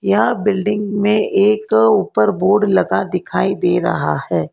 यह बिल्डिंग में एक ऊपर बोर्ड लगा दिखाई दे रहा है।